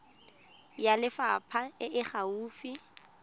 ya lefapha e e gaufi